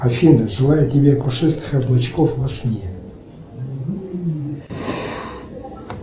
афина желаю тебе пушистых облачков во сне